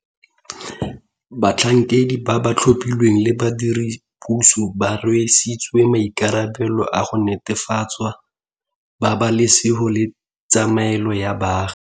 Batlhankedi ba ba tlhophilweng le badiredipuso ba rwesitswe maikarabelo a go netefatsa pabalesego le tshiamelo ya baagi.